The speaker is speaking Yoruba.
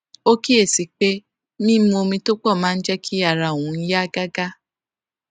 ó kíyè sí i pé mímu omi tó pò máa ń jé kí ara òun yá gágá